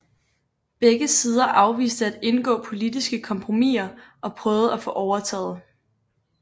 Begge sider afviste at indgå politiske kompromisser og prøvede at få overtaget